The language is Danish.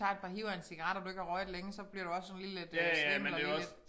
Tager et par hiv af en cigaret og du ikke har røget længe så bliver du også sådan lige lidt øh svimmel og lige lidt